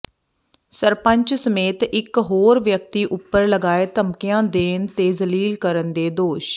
ਸਰਪੰਚ ਸਮੇਤ ਇਕ ਹੋਰ ਵਿਅਕਤੀ ਉਪਰ ਲਗਾਏ ਧਮਕੀਆਂ ਦੇਣ ਤੇ ਜਲੀਲ ਕਰਨ ਦੇ ਦੋਸ਼